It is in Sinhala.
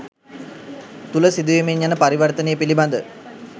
තුළ සිදුවෙමින් යන පරිවර්තනය පිළිබඳ